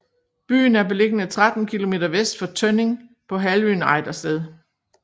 Byen er beliggende 13 kilometer vest for Tønning på halvøen Ejdersted